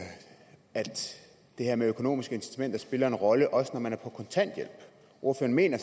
det her med økonomiske incitamenter spiller en rolle også når man er på kontanthjælp ordføreren mener